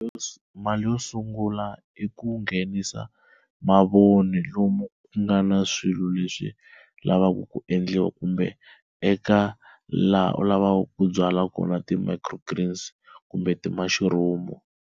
mali yo sungula i ku nghenisa mavoni lomu ku nga na swilo leswi lavaka ku endliwa kumbe eka laha u lavaka ku byala kona ti-microgreens kumbe ti-mushrooms.